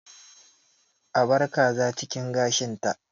A bar kaza a cikin gashinta